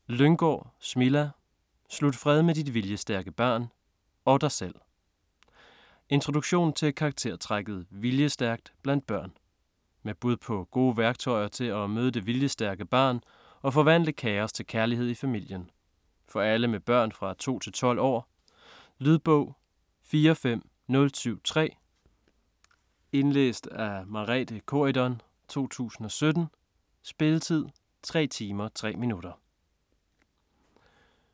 Lynggaard, Smilla: Slut fred med dit viljestærke barn - og dig selv Introduktion til karaktertrækket "viljestærkt" blandt børn. Med bud på gode værktøjer til at møde det viljestærke barn og forvandle kaos til kærlighed i familien. For alle med børn fra 2-12 år. Lydbog 45073 Indlæst af Merethe Corydon, 2017. Spilletid: 3 timer, 3 minutter.